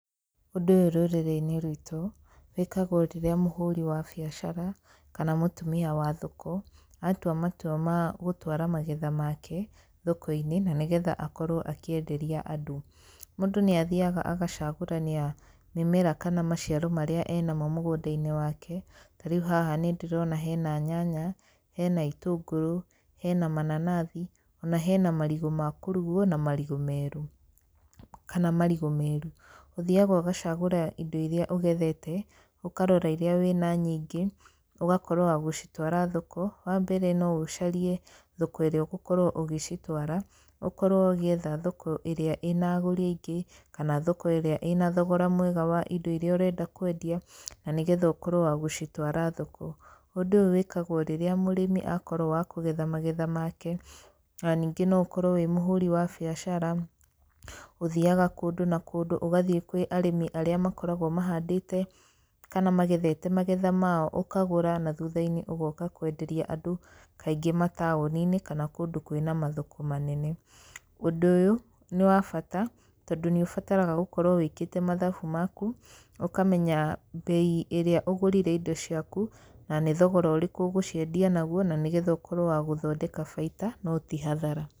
Ũndũ ũyũ rũrĩrĩ-inĩ rwitũ wĩkagwo rĩrĩa mũhũri wa biacara, kana mũtumia wa thoko, atwa matwa magũtwara magetha make thoko-inĩ, na nĩgetha akorwo akĩenderia andũ. Mũndũ nĩ athiaga agacagũrania mĩmera, kana maciaro, maria enamo mũgũnda-inĩ wake, tarĩu haha nĩ ndĩrona hena nyanya, hena itũngũrũ, hena mananathi, ona hena marigũ makũrugwo na marigũ meru, kana marigũ meru. Ũthiaga ũgacagũra indo iria ũgethete, ũkarora iria wĩna nyingĩ ũgakorwo wa gũcitwara thoko, wa mbere, no ũcarie thoko ĩrĩa ũgokorwo ũgĩcitwara, ũkorwo ũgĩetha thoko ĩrĩa ĩnagũri aingĩ, kana thoko ĩrĩa ĩna thogora mwega wa indo iria ũrenda kwendia, na nĩgetha ũkorwo wa gũcitwara thoko. Ũndũ ũyũ wĩkagwo rĩrĩa mũrĩmi akorwo wa kũgetha magetha make, na ningĩ no ũkorwo wĩmũhũri wa biacara, ũthiaga kũndũ na kũndũ, ũgathiĩ kwĩ arĩmi arĩa makoragwo mahandĩte, kana magethete magetha mao, ũkagũra na thutha-inĩ ũgoka kwenderia andũ, kaingĩ mataũni-inĩ, kana kũndũ kwĩna mathoko manene. Ũndu ũyũ nĩ wabata, tondũ nĩ ũbataraga gũkorwo wĩkĩte mathabu maku, ũkamenya mbei ĩrĩa ũgũrire indo ciaku, na nĩ thogora ũrĩkũ ũgũciendia naguo, na nĩ getha ũkorwo wa gũthondeka baita no tihathara.